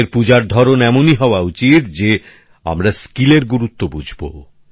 আমাদের পূজার ধরণ এমনই হওয়া উচিত যে আমরা দক্ষতার গুরুত্ব বুঝব